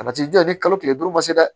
A ti janɲa ni kalo tile duuru ma se dɛ